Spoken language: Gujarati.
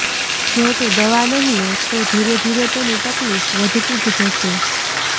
જો તે દવા નહીં લે તો ધીરે ધીરે તેની તકલીફ વધતી જ જશે